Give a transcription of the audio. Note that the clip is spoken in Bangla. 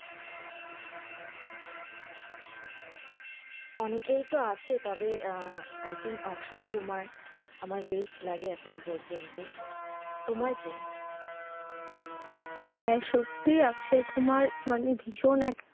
অনেকই তো আছে তবে আঃ I think অক্ষয় কুমার আমার best লাগে এখনো পর্যন্ত, তোমার কে? হ্যাঁ সত্যি অক্ষয় কুমার মানে ভীষণ,